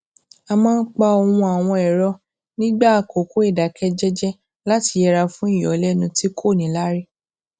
a máa ń pa ohùn àwọn ẹrọ nígbà àkókò ìdákẹ jẹjẹ láti yẹra fún ìyọlénu tí kò níláárí